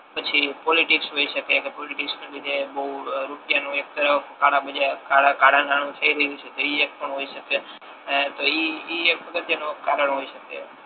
પછી પોટિક્સ હોય શકે કે પોલિટિક્સ ની જગ્યા એ ને બહુ રૂપિયા નુ બહુ કળા બજાર કળા નાણુ છે એવી રીતે એ એક પણ હોય શકે એ તો ઇ એક અગત્ય નો કારણ હોય શકે